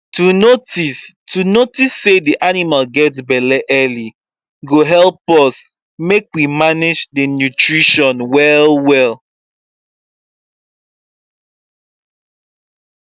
to notice to notice say the animal get belle early go help us make we manage the nutition well well